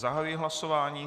Zahajuji hlasování.